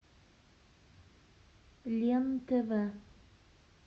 лен тв